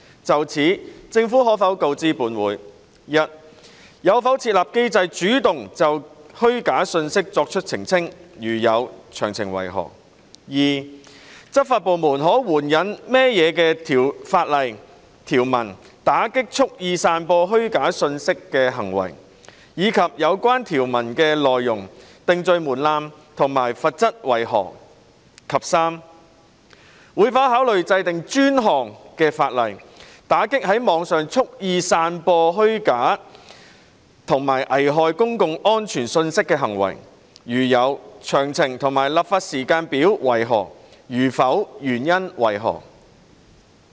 就此，政府可否告知本會：一有否設立機制主動就虛假信息作出澄清；如有，詳情為何；二執法部門可援引甚麼法律條文打擊蓄意散播虛假信息的行為，以及有關條文的內容、定罪門檻及罰則為何；及三會否考慮制定專項法例，打擊在網上蓄意散播虛假及危害公共安全信息的行為；如會，詳情及立法時間表為何；如否，原因為何？